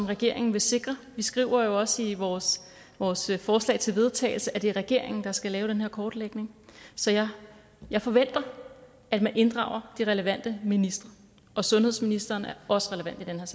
regeringen vil sikre vi skriver jo også i vores vores forslag til vedtagelse at det er regeringen der skal lave den her kortlægning så jeg jeg forventer at man inddrager de relevante ministre og sundhedsministeren er også relevant